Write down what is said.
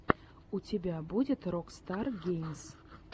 у тебя будет рокстар геймс